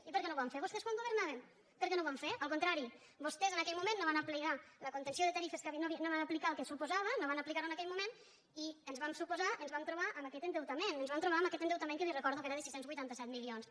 i per què no ho van fer vostès quan governaven per què no ho van fer al contrari vostès en aquell moment no van aplicar la contenció de tarifes no van aplicar el que suposava no van aplicar ho en aquell moment i ens va suposar ens vam trobar amb aquest endeutament ens vam trobar amb aquest endeutament que li recordo que era de sis cents i vuitanta set milions